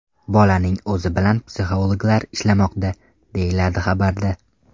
Bolaning o‘zi bilan psixologlar ishlamoqda”, deyiladi xabarda.